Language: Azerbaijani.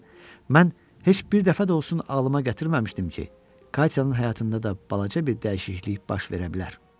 Əksinə, mən heç bir dəfə də olsun ağlıma gətirməmişdim ki, Katyanın həyatında da balaca bir dəyişiklik baş verə bilər.